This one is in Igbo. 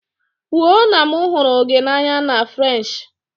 Kwuo na m hụrụ gị n'anya na Frenshi!